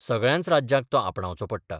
सगळ्यांच राज्यांक तो आपणावचो पडला.